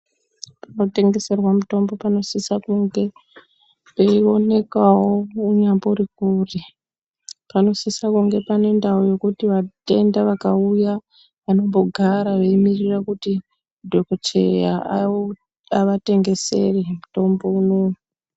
Panotengeserwa mitombo panosisa kunge peiwonekawo unyambori kure panosisa kunge pane ndao yekuti vatenda vakauya vanombogara veimirira kuto dhokodheya avatengesere mutombo unouyu.